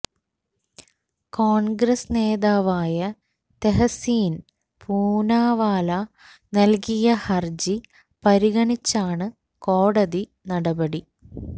കോണ്ഗ്രസ് നേതാവായ തെഹസീന് പൂനാവാല നല്കിയ ഹര്ജി പരിഗണിച്ചാണ് കോടതി നടപടി